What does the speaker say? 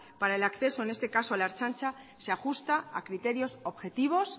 para el acceso en esta caso a la ertzaintza se ajusta a criterios objetivos